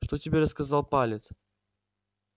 что тебе рассказал палец